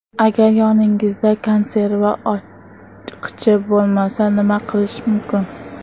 Agar yoningizda konserva ochqichi bo‘lmasa, nima qilish mumkin?.